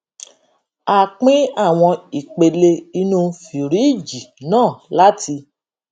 a pín àwọn ìpele inú fìríìjì náà láti